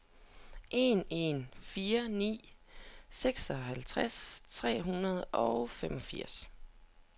en en fire ni seksoghalvtreds tre hundrede og femogfirs